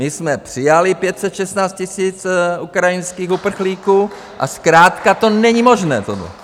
My jsme přijali 516 000 ukrajinských uprchlíků a zkrátka to není možné!